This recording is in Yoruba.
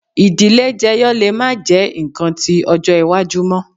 Idile jeyo le ma jẹ nkan ti ọjọ iwaju mọ